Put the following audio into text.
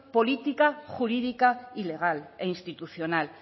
política jurídica y legal e institucional